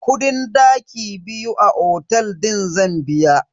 Kudin daki biyu a otel din zan biya.